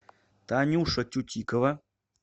танюша тютикова